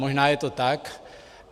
Možná je to tak.